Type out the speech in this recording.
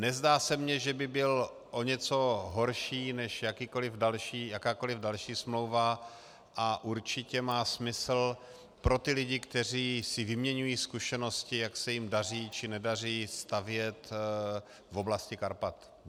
Nezdá se mně, že by byl o něco horší než jakákoliv další smlouva, a určitě má smysl pro ty lidi, kteří si vyměňují zkušenosti, jak se jim daří či nedaří stavět v oblasti Karpat.